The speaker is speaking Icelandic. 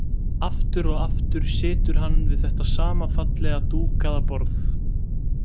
Aftur og aftur situr hann við þetta sama fallega dúkaða borð.